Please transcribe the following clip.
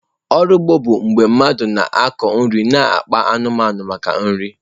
Ọrụ ugbo bụ mgbe ndị mmadụ na-akụ nri na akpa anụmanụ maka oriri.